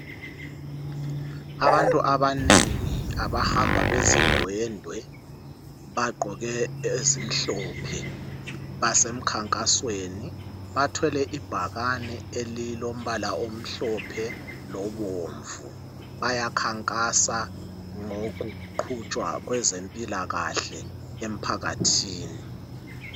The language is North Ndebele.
Abantu abanengi abahamba bezindwendwe bagqoke ezimhlophe basemkhankasweni bathwele ibhakane elilombala omhlophe lobomvu bayakhankasa ngokuqhutshwa kwezempilakahle emphakathini.